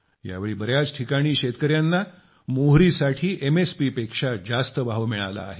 यावेळी बऱ्याच ठिकाणी शेतकऱ्यांना मोहरीसाठी एमएसपीपेक्षा जास्त भाव मिळाला आहे